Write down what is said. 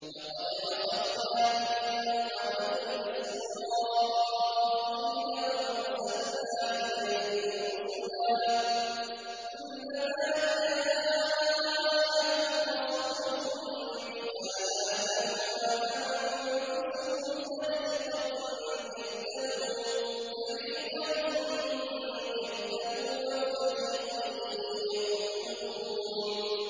لَقَدْ أَخَذْنَا مِيثَاقَ بَنِي إِسْرَائِيلَ وَأَرْسَلْنَا إِلَيْهِمْ رُسُلًا ۖ كُلَّمَا جَاءَهُمْ رَسُولٌ بِمَا لَا تَهْوَىٰ أَنفُسُهُمْ فَرِيقًا كَذَّبُوا وَفَرِيقًا يَقْتُلُونَ